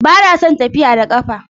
Ba na son tafiya da ƙafa